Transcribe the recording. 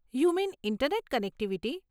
You mean internet connectivity?